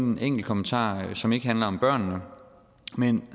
en enkelt kommentar til som ikke handler om børnene men